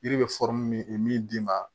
Yiri bɛ min d'i ma